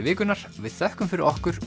vikunnar við þökkum fyrir okkur